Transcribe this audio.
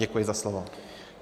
Děkuji za slovo.